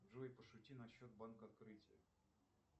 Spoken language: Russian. джой пошути насчет банка открытие